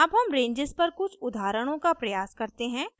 अब हम ranges पर कुछ उदाहरणों का प्रयास करते हैं